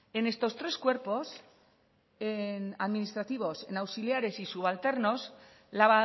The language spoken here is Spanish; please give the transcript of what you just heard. en estos tres cuerpos en administrativos auxiliares y subalternos la